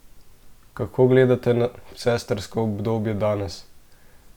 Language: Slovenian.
Kako gledate na sestrsko obdobje danes?